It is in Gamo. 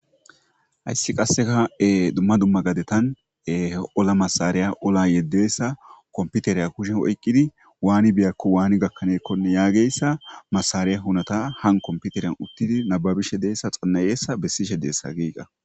Hayssi qasseka dumma dumma gadetan ola masariya ola yeddeessa komputereya kushen oyqqidi waani biyakko waani gakkaneekkonne yaageyssa masariya hunata han komputeriyan uttidi nababishe deessa xannayeessa bessishe deessa giiga.